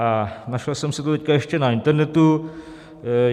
A našel jsem si to teď ještě a internetu.